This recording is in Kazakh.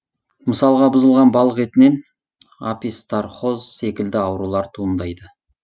мысалға бұзылған балық етінен опистрохоз секілді аурулар туындайды